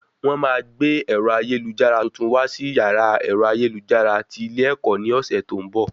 Wọ́n máa gbé ẹ̀rọ ayélujára tuntun wá sí yàrá ẹ̀rọ ayélujára tí ilé ẹ̀kọ́ ní ọ̀sẹ̀ tó ń bọ̀